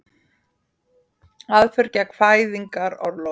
Aðför gegn fæðingarorlofi